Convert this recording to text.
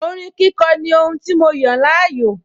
Orin kíkọ ní ohun tí mo yàn láàyò